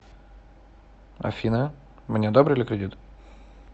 афина мне одобрили кредит